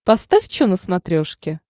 поставь че на смотрешке